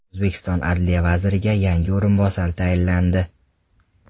O‘zbekiston adliya vaziriga yangi o‘rinbosarlar tayinlandi.